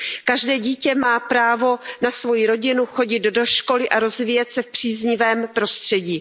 Každé dítě má právo na svoji rodinu, chodit do školy a rozvíjet se v příznivém prostředí.